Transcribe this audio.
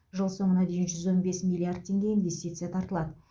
жыл соңына дейін жүз он бес миллиард теңге инвестиция тартылады